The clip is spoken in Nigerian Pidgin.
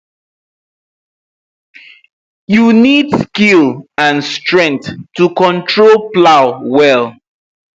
you need skill and strength to control plow well